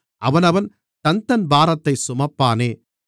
அவனவன் தன்தன் பாரத்தைச் சுமப்பானே